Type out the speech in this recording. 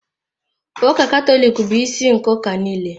Ụka Katọlik bụ isi nke ụka niile.